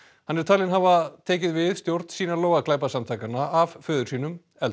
hann er talinn hafa tekið við stjórn Sinaloa glæpasamtakanna af föður sínum El